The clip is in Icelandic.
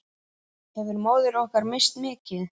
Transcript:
Hefur móðir okkar misst mikið.